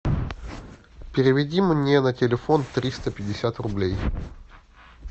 переведи мне на телефон триста пятьдесят рублей